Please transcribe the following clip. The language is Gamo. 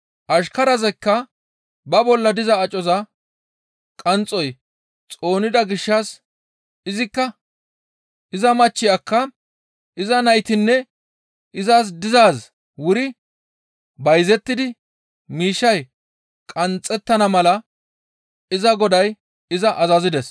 Ashkarazikka ba bolla diza acoza qanxxoy xoonida gishshas izikka iza machchiyakka iza naytinne izas dizaazi wuri bayzettidi miishshay qanxxettana mala iza goday iza azazides.